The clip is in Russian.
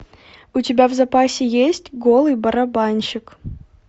у тебя в запасе есть голый барабанщик